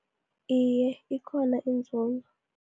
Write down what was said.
Iye, ikhona inzuzo